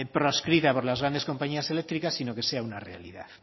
proscrita por las grandes compañías eléctricas sino que sea una realidad